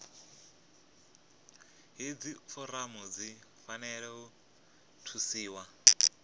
hedzi foramu dzi fanela u thusiwa